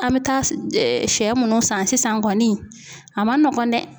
An bɛ taa sɛ minnu san sisan kɔni a man nɔgɔn dɛ